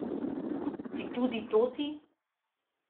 Si tudi to ti?